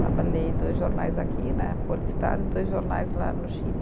Trabalhei dois jornais aqui né, Folha e Estado, e dois jornais lá no Chile.